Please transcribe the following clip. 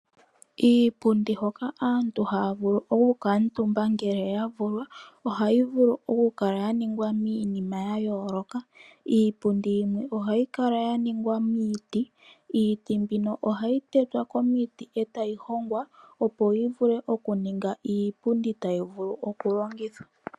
Iipundi hoka aantu haavulu okukala omutumba ngele yavulwa, ohayivulu okukala yaningwa miinima yayooloka. Iipundi yimwe ohayikala yaningwa miiti. Iiti mbino ohayi tetwa komiti, e tayihongwa opo yivule okuninga iipundi tayi vulu oku longithwa.